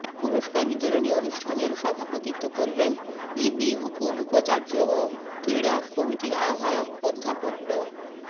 পুরষ্কার বিতরনী অনুষ্ঠানের সভাপতিত্ব করবেন ইবি উপ উপাচার্য ও ক্রীড়া কমিটির আহ্বায়ক অধ্যাপক ড